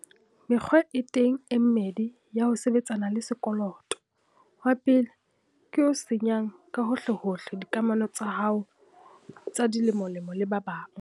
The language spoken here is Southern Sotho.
Mekgwa e teng e mmedi ya ho sebetsana le sekoloto. Wa pele ke o senyang ka hohlehohle dikamano tsa hao tsa dilemolemo le ba bang.